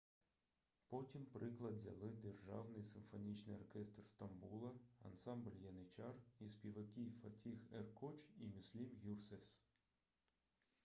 потім приклад взяли державний симфонічний оркестр стамбула ансамбль яничар і співаки фатіх еркоч і мюслюм гюрсес